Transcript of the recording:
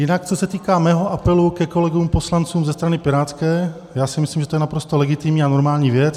Jinak co se týká mého apelu ke kolegům poslancům ze strany pirátské, já si myslím, že to je naprosto legitimní a normální věc.